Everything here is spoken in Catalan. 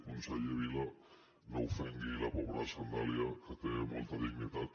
conseller vila no ofengui la pobra sandàlia que té molta dignitat